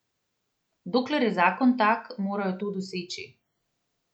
Dokler je zakon tak, morajo to doseči.